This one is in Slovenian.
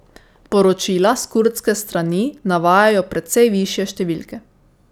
Poročila s kurdske strani navajajo precej višje številke.